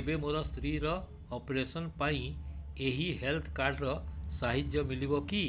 ଏବେ ମୋ ସ୍ତ୍ରୀ ର ଅପେରସନ ପାଇଁ ଏହି ହେଲ୍ଥ କାର୍ଡ ର ସାହାଯ୍ୟ ମିଳିବ କି